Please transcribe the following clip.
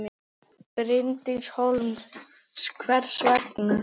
Bryndís Hólm: Hvers vegna?